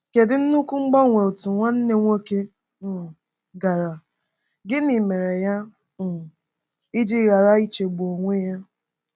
Kedu nnukwu mgbanwe otu nwanne nwoke um gara, gịnị mere ya um ji ghara ichegbu onwe ya?